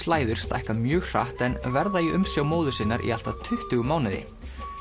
læður stækka mjög hratt en verða í umsjá móður sinnar í allt að tuttugu mánuði